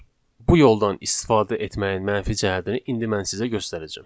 Bu yoldan istifadə etməyin mənfi cəhətini indi mən sizə göstərəcəm.